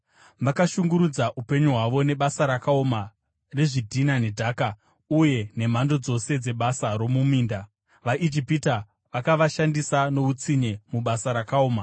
Vakashungurudza upenyu hwavo nebasa rakaoma rezvidhina nedhaka uye nemhando dzose dzebasa romuminda; vaIjipita vakavashandisa noutsinye mubasa rakaoma.